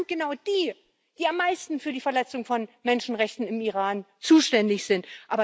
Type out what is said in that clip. Aber das sind genau die, die am meisten für die Verletzung von Menschenrechten im Iran zuständig sind.